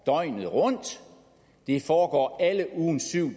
døgnet rundt det foregår alle ugens syv